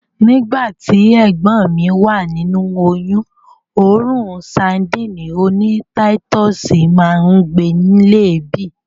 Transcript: Nígbàtí, ẹ̀gbọ́n mi wà nínu oyún òórùn sadíìnì oní táítọ̀sì máa ń gbe lé èébì.